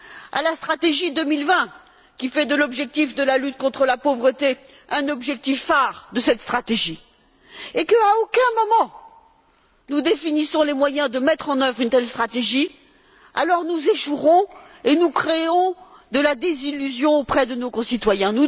dans la stratégie 2020 qui fait de l'objectif de la lutte contre la pauvreté un de ses objectifs phare, et qu'à aucun moment, nous ne définissons les moyens de mettre en œuvre une telle stratégie, alors nous échouerons et nous créerons de la désillusion auprès de nos concitoyens.